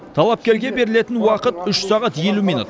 талапкерге берілетін уақыт үш сағат елу минут